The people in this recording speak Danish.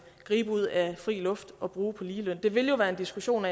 gribe ud af luften og bruge på ligeløn det vil jo være en diskussion